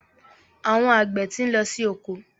Àwọn àgbẹ̀ ti ń lọ sí oko.